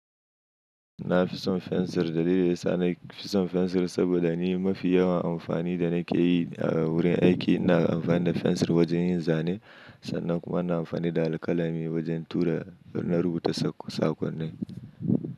Na fi son fensir dalili sa na fi son fensir saboda ni mafi yawan amfani da nake yi a wurin aiki. Ina amfani da fensir wajen yin zane sannan kuma na amfani da alƙalami wajen tura na rubuta saƙonni.